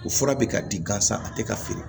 O fura bɛ ka di gansan a tɛ ka feere